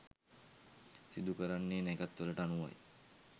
සිදු කරන්නේ නැකැත් වලට අනුවයි.